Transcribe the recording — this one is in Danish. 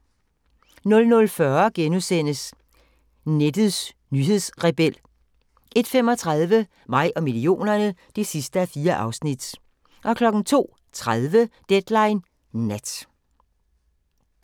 00:40: Nettets nyhedsrebel * 01:35: Mig og millionerne (4:4) 02:30: Deadline Nat